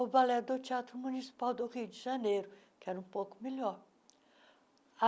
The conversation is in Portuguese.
o Balé do Teatro Municipal do Rio de Janeiro, que era um pouco melhor.